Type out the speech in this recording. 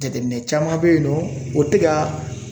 Jateminɛ caman bɛ yen nɔ o tɛ ka